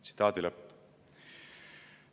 Tsitaadi lõpp.